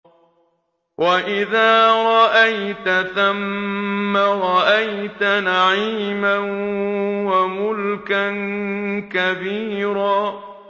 وَإِذَا رَأَيْتَ ثَمَّ رَأَيْتَ نَعِيمًا وَمُلْكًا كَبِيرًا